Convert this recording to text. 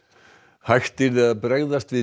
hægt yrði að bregðast við